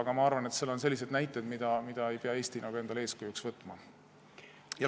Aga ma arvan, et seal on selliseid näiteid, mida Eesti ei pea endale eeskujuks võtma.